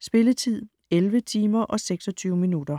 Spilletid: 11 timer, 26 minutter.